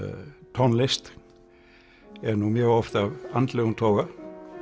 tónlist er nú mjög oft af andlegum toga